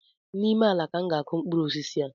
N’ime ala ka m ga akụ mkpụrụ osisi a